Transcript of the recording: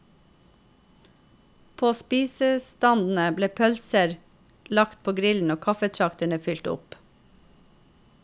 På spisestandene ble pølser lagt på grillen og kaffetraktere fylt opp.